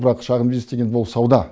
бірақ шағын бизнес деген бұл сауда